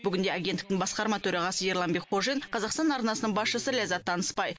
бүгінде агенттіктің басқарма төрағасы ерлан бекхожин қазақстан арнасының басшысы ләззат танысбай